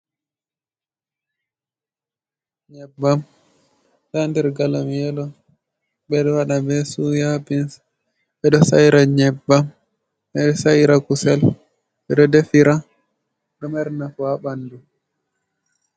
Nyebbam ɗo haa der galom yelo, ɓeɗo waaɗa nbe suya bins, ɓeɗo saira nyebbam, ɓe ɗo saira kusel, ɓe ɗo defira, ɗo mari nafu haa ɓandu.